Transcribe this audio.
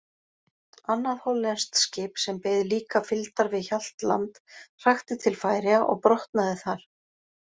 Annað hollenskt skip, sem beið líka fylgdar við Hjaltland, hrakti til Færeyja og brotnaði þar.